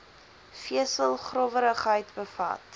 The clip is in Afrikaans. vesel growwerigheid bevat